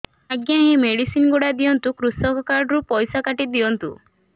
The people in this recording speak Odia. ଆଜ୍ଞା ଏ ମେଡିସିନ ଗୁଡା ଦିଅନ୍ତୁ କୃଷକ କାର୍ଡ ରୁ ପଇସା କାଟିଦିଅନ୍ତୁ